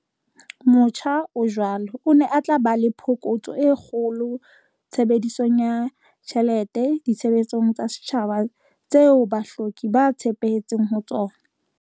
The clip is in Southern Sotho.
Motjha o jwalo o ne o tla ba le phokotso e kgolo tshebedisong ya tjhelete ditshebeletsong tsa setjhaba tseo bahloki ba tshepetseng ho tsona.